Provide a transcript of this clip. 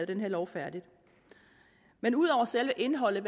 den her lov færdig men ud over selve indholdet